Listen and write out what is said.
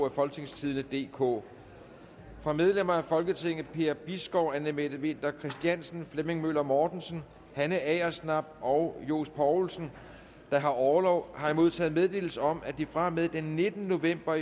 af folketingstidende DK fra medlemmer af folketinget per bisgaard anne mette winther christiansen flemming møller mortensen hanne agersnap og johs poulsen der har orlov har jeg modtaget meddelelse om at de fra og med den nittende november